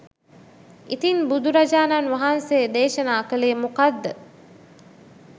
ඉතින් බුදුරජාණන් වහන්සේ දේශනා කළේ මොකක්ද?